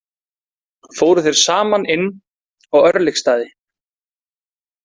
Fóru þeir saman inn á Örlygsstaði.